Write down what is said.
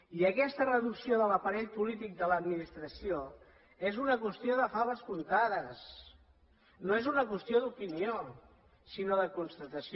i aquesta reducció de l’aparell polític de l’administració és una qüestió de faves comptades no és una qüestió d’opinió sinó de constatació